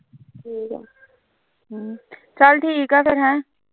ਚਲ ਠੀਕ ਐ ਹੈਂ ਫਿਰ ਹੈ